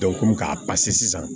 k'a sisan